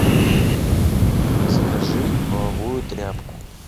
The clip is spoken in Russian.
закажи половую тряпку